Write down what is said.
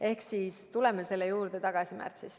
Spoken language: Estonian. Ehk siis tuleme selle juurde tagasi märtsis.